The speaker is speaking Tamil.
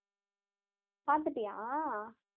பார்த்துட்டியா